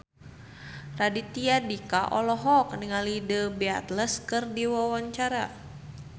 Raditya Dika olohok ningali The Beatles keur diwawancara